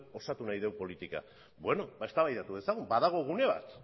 osatu nahi dugu politika beno ba eztabaidatu dezagun badago gune bat